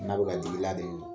N'a bɛ ka dig'i la de